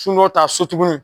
ta so tuguni